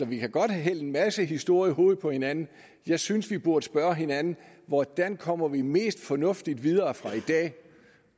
vi kan godt hælde en masse historie i hovedet på hinanden jeg synes vi burde spørge hinanden hvordan kommer vi mest fornuftigt videre fra i dag